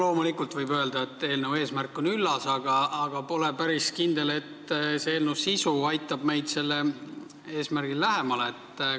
Loomulikult võib öelda, et eelnõu eesmärk on üllas, aga pole päris kindel, et eelnõu sisu meid sellele eesmärgile lähemale aitab.